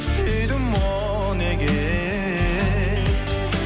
сүйдім о неге